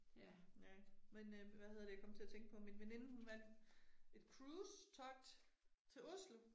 Ja ik, men øh hvad hedder det jeg kom til at tænke på at min veninde hun vandt et cruise-togt til Oslo